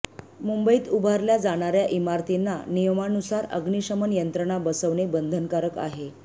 मुंबईत उभारल्या जाणार्या इमारतींना नियमानुसार अग्निशमन यंत्रणा बसवणे बंधनकारक आहे